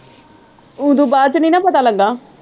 ਉਦੋਂ ਬਾਅਦ ਚੋਂ ਨਹੀਂ ਨਾ ਪਤਾ ਲੱਗਾ।